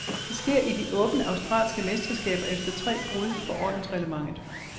Det sker i de åbne australske mesterskaber efter tre brud på ordensreglementet.